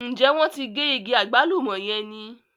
Ǹjẹ́ wọ́n ti gé igi àgbálùmọ̀ yẹn ni?